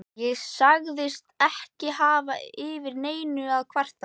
Ég sagðist ekki hafa yfir neinu að kvarta.